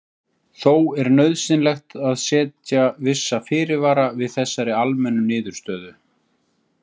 Þó er nauðsynlegt að setja vissa fyrirvara við þessari almennu niðurstöðu.